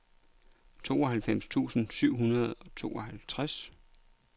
tooghalvfems tusind syv hundrede og tooghalvtreds